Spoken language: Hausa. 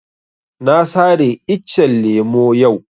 Na sare iccen lemo yau